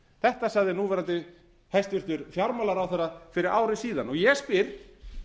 þetta sagði núv hæstvirtur fjármálaráðherra fyrri ári síðan ég spyr